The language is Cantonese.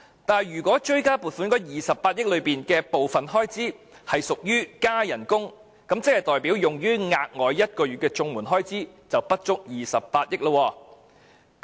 但是，如果追加撥款的28億元有部分是屬於增加薪酬開支，即代表用於綜援1個月額外援助金的開支不足28億元。